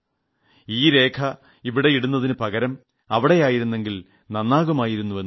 ചിലർ പറഞ്ഞു ഈ രേഖ ഇവിടെ ഇടുന്നതിനു പകരം അവിടെയായിരുന്നെങ്കിൽ നന്നാകുമായിരുന്നു